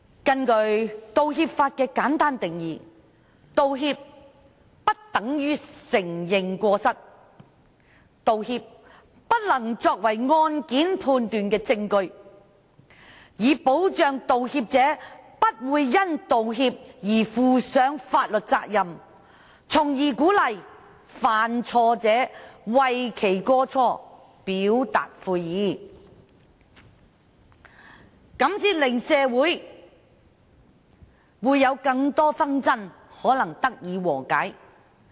根據道歉法的簡單定義，道歉不等於承認過失，道歉不能作為判案的證據，以保障道歉者不會因道歉而負上法律責任，從而鼓勵犯錯者為其過錯表達悔意，這樣才能令更多的社會紛爭得以和解。